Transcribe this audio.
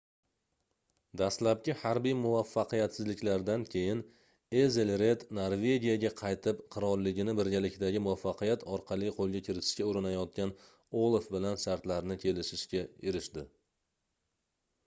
dastlabki harbiy muvaffaqiyatsizliklardan keyin ezelred norvegiyaga qaytib qirolligini birgalikdagi muvaffaqiyat orqali qoʻlga kiritishga urinayotgan olaf bilan shartlarni kelishishga erishdi